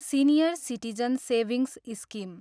senior citizen savings scheme